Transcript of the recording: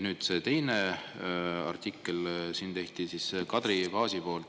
Teine artikkel on tehtud Kadri Paasi poolt.